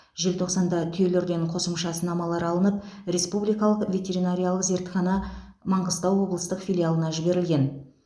желтоқсанда түйелерден қосымша сынамалар алынып республикалық ветеринариялық зертхана маңғыстау облыстық филиалына жіберілген